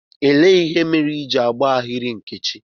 Elee ihe mere Ị ji agba ahịrị, Nkechi?